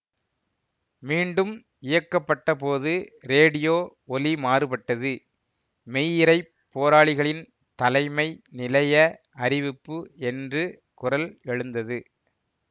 மீண்டும் இயக்கப்பட்டபோது ரேடியோ ஒலிமாறுபட்டது மெய்யிறைப் போராளிகளின் தலைமை நிலைய அறிவிப்பு என்று குரல் எழுந்தது